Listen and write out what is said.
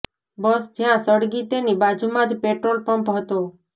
બસ જ્યાં સળગી તેની બાજુમાં જ પેટ્રોલ પંપ હતો